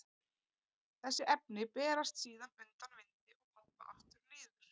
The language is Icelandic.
Þessi efni berast síðan undan vindi og falla aftur niður.